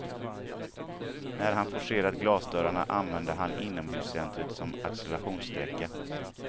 När han forcerat glasdörrarna använde han inhomhuscentret som accelerationssträcka.